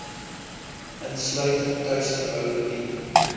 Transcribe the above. insluitend tuisverboude bier